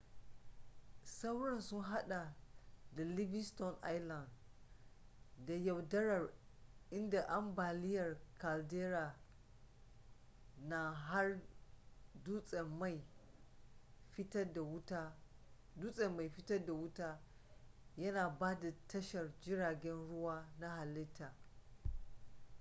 sauran sun hada da livingston island da yaudarar inda ambaliyar caldera na har dutsen mai fitad da wuta yana ba da tashar jiragen ruwa na halitta